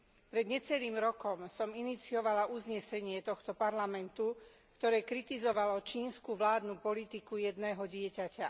Pred necelým rokom som iniciovala uznesenie tohto Parlamentu, ktoré kritizovalo čínsku vládnu politiku jedného dieťaťa.